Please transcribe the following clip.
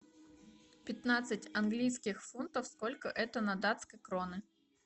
пятнадцать английских фунтов сколько это на датские кроны